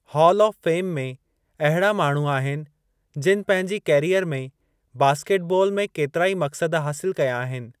हालु of fame में अहड़ा माण्हू आहिनि जिनि पंहिंजी कैरीयर में बास्केट बालु में केतिराई मक़सद हासिलु कया आहिनि।